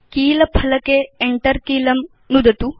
कीलफलके Enter कीलं नुदतु